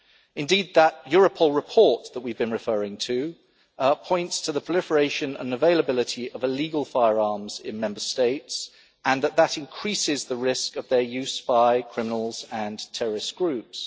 Indeed, the Europol report that we have been referring to points to the proliferation and availability of illegal firearms in Member States and that that increases the risk of their use by criminals and terrorist groups.